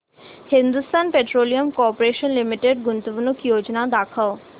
Hindustan Petroleum Corporation Limited गुंतवणूक योजना दाखव